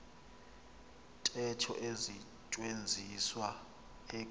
ntetho isetyenziswa eku